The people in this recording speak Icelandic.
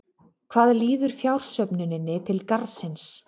Hvað líður fjársöfnuninni til Garðsins?